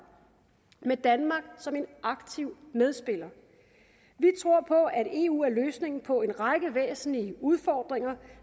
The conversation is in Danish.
med danmark som en aktiv medspiller vi tror på at eu er løsningen på en række væsentlige udfordringer